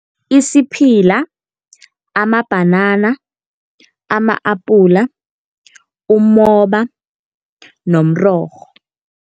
Isiphila, amabhanana, ama-apula, umoba nomrorho.